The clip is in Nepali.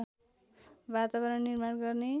वातावरण निर्माण गर्ने।